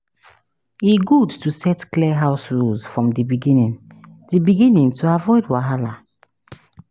E good to set clear house rules from the beginning the beginning to avoid wahala.